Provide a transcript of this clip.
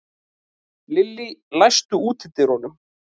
Lillý, læstu útidyrunum.